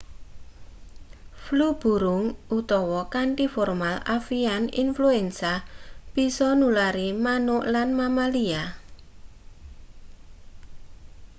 flu burung utawa kanthi formal avian infuensa bisa nulari manuk lan mamalia